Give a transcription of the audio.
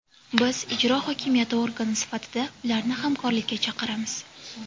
Biz ijro hokimiyati organi sifatida ularni hamkorlikka chaqiramiz.